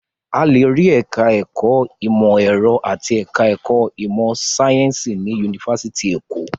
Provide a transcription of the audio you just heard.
A lè rí ẹ̀ka-ẹ̀kọ́ ìmọ̀-ẹ̀rọ àti ẹ̀ka-ẹ̀kọ́ ìmọ̀-sáyẹ́ńsì ní yunifásitì Èkó.